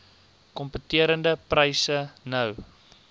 kompeterende pryse nou